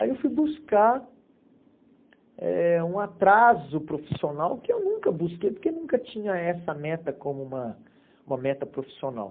Aí eu fui buscar eh um atraso profissional que eu nunca busquei, porque eu nunca tinha essa meta como uma uma meta profissional.